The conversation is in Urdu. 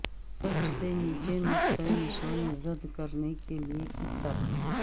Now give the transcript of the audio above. سب سے نیچے نقطہ نشان زد کرنے کے لئے کس طرح